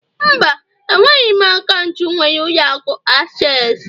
Mba, enweghị m akaụntụ nwere ụlọ akụ access